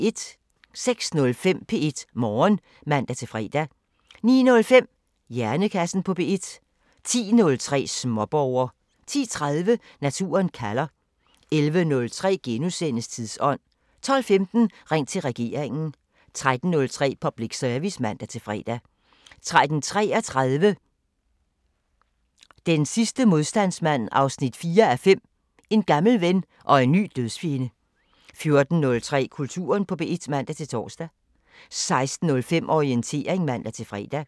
06:05: P1 Morgen (man-fre) 09:05: Hjernekassen på P1 10:03: Småborger 10:30: Naturen kalder 11:03: Tidsånd * 12:15: Ring til regeringen 13:03: Public Service (man-fre) 13:33: Den sidste modstandsmand 4:5 – En gammel ven og en ny dødsfjende 14:03: Kulturen på P1 (man-tor) 16:05: Orientering (man-fre)